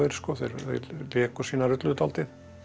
þeir léku sína rullu dálítið